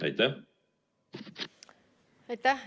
Aitäh!